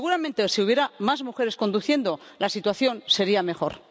Seguramente, si hubiera más mujeres conduciendo, la situación sería mejor.